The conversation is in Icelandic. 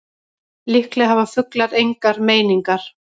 Líklega hafa fuglar engar meiningar.